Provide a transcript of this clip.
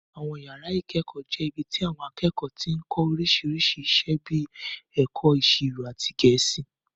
Àwọn yàrá ìkẹ́kọ̀ọ́ jẹ́ ibi tí àwọn akẹ́kọ̀ọ́ ti ń kọ́ oríṣiríṣi iṣẹ́ bíi ẹ̀kọ́ ìṣirò àti Gẹ̀ẹ́sì